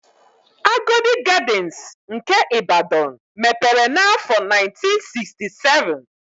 Agodi Gadịnsị nke Ịbadọn mepere n'áfọ̀ 1967.